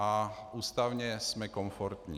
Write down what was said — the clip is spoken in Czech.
A ústavně jsme komfortní.